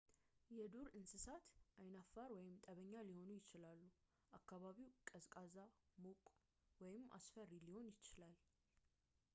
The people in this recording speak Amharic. የዱር እንስሳት ዓይናፋር ወይም ጠበኛ ሊሆኑ ይችላሉ አከባቢው ቀዝቃዛ ሙቅ ወይም አስፈሪ ሊሆን ይችላል